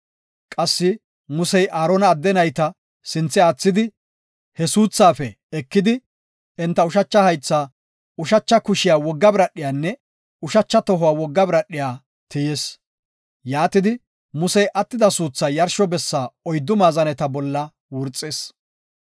Qassi Musey Aarona adde nayta sinthe aathidi, he suuthaafe ekidi, enta ushacha haythaa, ushacha kushiya wogga biradhiyanne ushacha tohuwa wogga biradhiya tiyis. Yaatidi, Musey attida suuthaa yarsho bessa oyddu maazaneta bolla wurxis.